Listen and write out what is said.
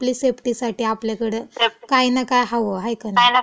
आपली सेफ्टीसाठी आपल्या आपल्याकडं काही ना हवं, हाय का नाई?